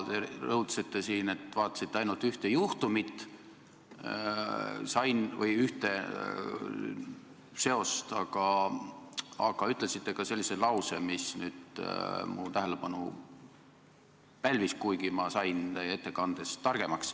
Te rõhutasite siin, et vaatasite ainult ühte juhtumit või ühte seost, aga te ütlesite ka ühe sellise lause, mis mu tähelepanu pälvis, kuigi ma sain teie ettekandest targemaks.